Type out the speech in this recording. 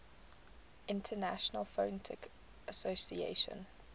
international phonetic association